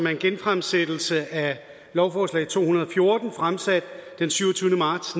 en genfremsættelse af lovforslag to hundrede og fjorten fremsat den syvogtyvende marts